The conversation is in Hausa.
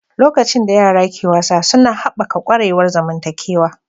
Lokacin da yara ke wasa suna haɓaka ƙwarewar zamantakewa.